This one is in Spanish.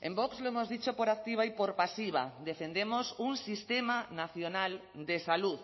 en vox lo hemos dicho por activa y por pasiva defendemos un sistema nacional de salud